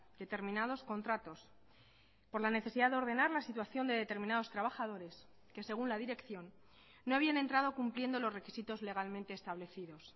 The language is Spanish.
determinados contratos por la necesidad de ordenar la situación de determinados trabajadores que según la dirección no habían entrado cumpliendo los requisitos legalmente establecidos